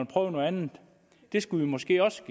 prøve noget andet det skulle vi måske også